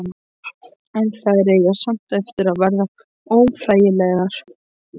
En þær eiga samt eftir að verða óþægilegar.